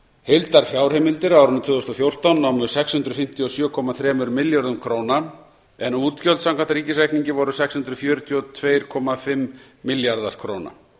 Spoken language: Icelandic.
heildarfjárheimildir á árinu tvö þúsund og fjórtán námu sex hundruð fimmtíu og sjö komma þremur milljörðum króna en útgjöld samkvæmt ríkisreikningi voru sex þúsund fjögur hundruð tuttugu og fimm milljarðar króna